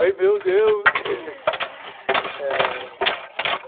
Ai meu Deus!